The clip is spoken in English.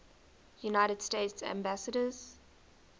united states ambassadors